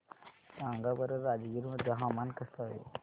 सांगा बरं राजगीर मध्ये हवामान कसे आहे